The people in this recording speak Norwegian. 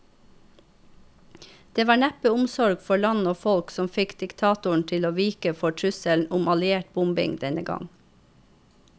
Det var neppe omsorg for land og folk som fikk diktatoren til å vike for trusselen om alliert bombing denne gang.